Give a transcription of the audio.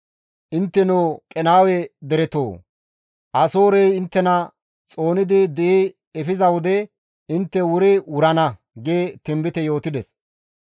Intteno Qenaawe deretoo! Asoorey inttena xoonidi di7i efiza wode intte wuri wurana» gi tinbite yootides.